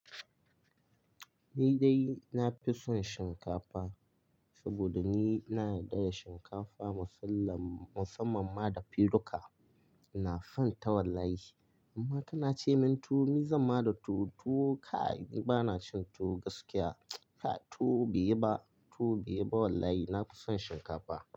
Ni dai na fi son shinkafa saboda ni na yarda da shinkafa musamman ma da filuka. Na fan ta wallahi. Amma tana ce min tuwo, mi zan ma da tuwo. Tuwo kai! Ni bana cin tuwo gaskiya. Tuwo bai yiba, tuwo bai yiba wallahi. Na fi son shinkafa.